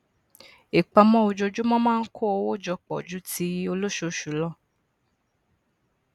ìpamọ ojoojumọ maa n kó owo jọpọ ju ti olosoosu lọ